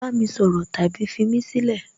bami soro tabi fimí sílẹ̀!